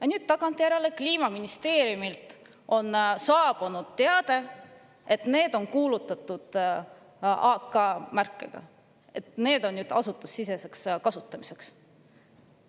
Aga nüüd tagantjärele on Kliimaministeeriumilt saabunud teade, et need on AK-märkega, et need on nüüd kuulutatud asutusesiseseks kasutamiseks.